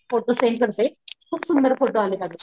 Photo send करते खूप सुंदर फोटो आलेत अग.